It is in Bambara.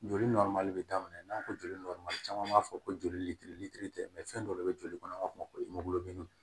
Joli bɛ daminɛ n'an ko joli caman b'a fɔ ko joli litiri litiri tɛ fɛn dɔ de bɛ joli kɔnɔ an b'a fɔ ko